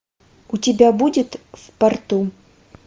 у тебя будет в порту